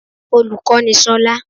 Olùkó ni solá